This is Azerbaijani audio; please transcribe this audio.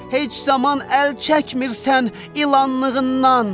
Heç zaman əl çəkmirsən ilanlığından.